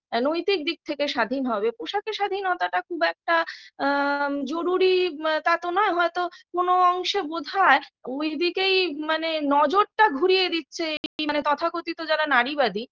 আ নৈতিক দিক থেকে স্বাধীন হবে পোশাকের স্বাধীনতাটা খুব একটা আ জরুরী তাতো নয় হয়তো কোনো অংশে বোধ হয় ওইদিকেই মানে নজরটা ঘুরিয়ে দিচ্ছে মানে তথাকথিত যারা নারীবাদী